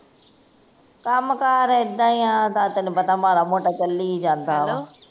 ਕੰਮ ਕਾਰ ਏਡਾ ਈ ਆ ਤੇਨੂੰ ਪਤਾ ਮਾੜਾ ਮੋਟਾ ਚਲੀ ਜਾਂਦਾ ਵਾਂ